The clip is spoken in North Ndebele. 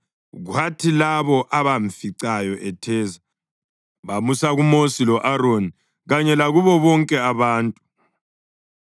Kwathi labo abamficayo etheza bamusa kuMosi lo-Aroni kanye lakubo bonke abantu,